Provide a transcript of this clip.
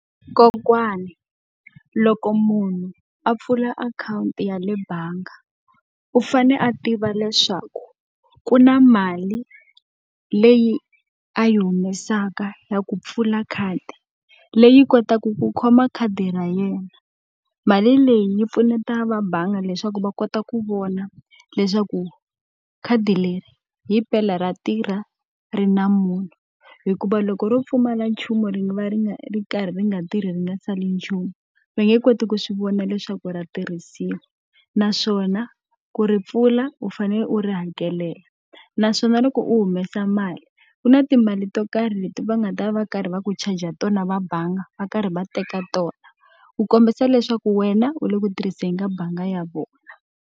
Kokwana loko munhu a pfula akhawunti ya le bangi, u fanele a tiva leswaku ku na mali leyi a yi humesaka ya ku pfula khadi. Leyi kotaku ku khoma khadi ra yena. Mali a leyi yi pfuneta vabangi leswaku va kota ku vona leswaku khadi leri himpela ra tirha, ri na munhu. Hikuva loko ro pfumala nchumu ri va ri nga ri karhi ri nga tirhi ri nga sali nchumu, va nge koti ku swi vona leswaku ra tirhisiwa. Naswona ku ri pfula, u fanele u ri hakelela. Naswona loko u humesa mali, ku na timali to karhi leti va nga ta va va karhi va ku charge-a tona va bangi va karhi va teka tona. Ku kombisa leswaku wena u le ku tirhiseni ka bangi ya vona.